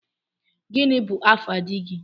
Gini bu afa dígị?